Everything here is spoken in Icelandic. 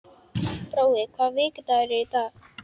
Brói, hvaða vikudagur er í dag?